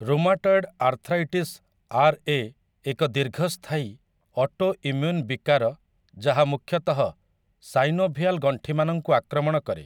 Rheumatoid arthritis RA. ଏକ ଦୀର୍ଘସ୍ଥାୟୀ autoimmune ବିକାର ଯାହା ମୂଖ୍ୟତଃ ସାଇନୋଭିଆଲ ଗଣ୍ଠିମାନଙ୍କୁ ଆକ୍ରମଣ କରେ ।